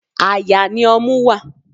Àyà ni ọmú wá.